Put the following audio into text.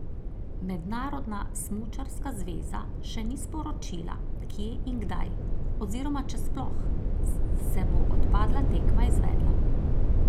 Mednarodna smučarska zveza še ni sporočila, kje in kdaj, oziroma če sploh, se bo odpadla tekma izvedla.